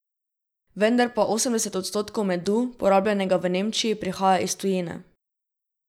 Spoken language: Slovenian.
Vendar pa osemdeset odstotkov medu, porabljenega v Nemčiji, prihaja iz tujine.